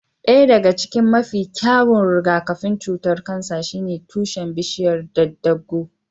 Ɗaya daga cikin mafi kyawun rigakafin cutar kansa shine tushen bishiyar daddaaguu.